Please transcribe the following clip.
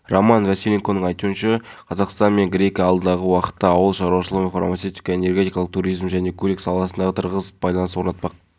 болған мұны мен сіздерге анық айта аламын құқық қорғау органдары ғимараттары мен қызметкерлеріне шабуыл жасамақ